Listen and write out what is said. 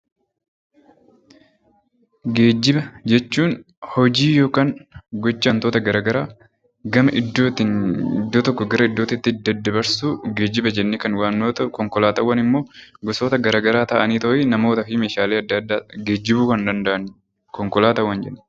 Geejjiba jechuun hojii yookaan gocha wantoota gara garaa iddoo tokkoo gara iddoo biraatti daddabarsuu geejjiba jennee kan waamnu yoo ta’u, konkolaataawwan immoo gosoota gara garaa ta'anii namootaa fi meeshaalee geejjibuu kan danda’an konkolaataawwan jenna.